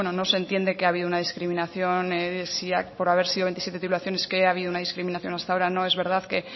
no se entiende que ha habido una discriminación si por haber sido veintisiete titulaciones que haya habido una discriminación hasta ahora no es verdad que